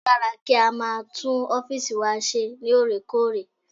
Ó dára kí a máa tún ọ́fìsì wa ṣeré lóòrèkóòrè